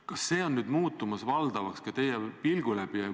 Kas see on nüüd muutumas valdavaks ka teie pilgu läbi?